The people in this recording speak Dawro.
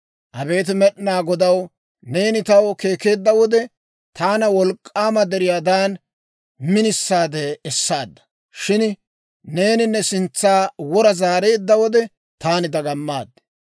Abeet Med'inaa Godaw, neeni taw keekkeedda wode, taana wolk'k'aama deriyaadan minisaade essaadda. Shin neeni ne sintsa wora zaareedda wode, taani dagamaad.